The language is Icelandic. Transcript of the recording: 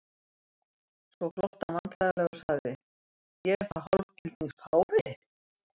Svo glotti hann vandræðalega og sagði:-Ég er þá hálfgildings páfi?